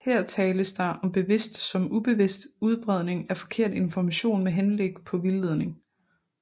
Her tales der om bevidst som ubevidst udbredning af forkert information med henblik på vildledning